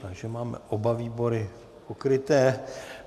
Takže máme oba výbory pokryté.